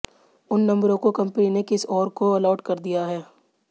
उन नंबरों को कंपनी ने किसी और को अलॉट कर दिया है